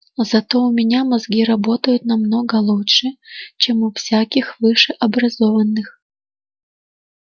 зато у меня мозги работают намного лучше чем у всяких высшеобразованных